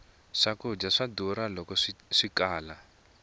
swkudya swa durha loko swikala